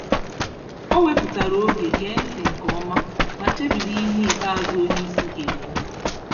O wepụtara oge gee ntị nke ọma, ma chebiri ihe ikpeazụ onyeisi gekwu